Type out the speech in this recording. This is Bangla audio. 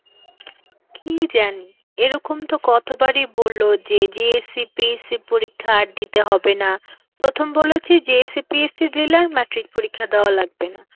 কি জানি? এরকম তো কতবারই বলল যে JSCPC পরীক্ষা আর দিতে হবে না, প্রথম বলেছে JSCPC দিলে আর matric পরীক্ষা দেওয়া লাগবে না,